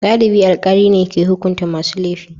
Galibi alkali ne ke hukunta masu laifi.